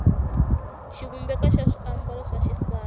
xivumbeko xa swiambalo swa xisati